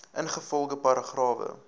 ingevolge paragrawe